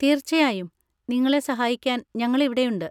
തീർച്ചയായും! നിങ്ങളെ സഹായിക്കാൻ ഞങ്ങൾ ഇവിടെയുണ്ട്.